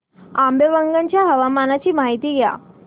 आंबेवंगन च्या हवामानाची माहिती द्या